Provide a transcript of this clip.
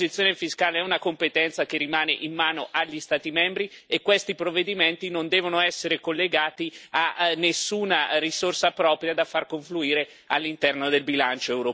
L'imposizione fiscale è una competenza che rimane in mano agli Stati membri e questi provvedimenti non devono essere collegati a nessuna risorsa propria da far confluire all'interno del bilancio europeo.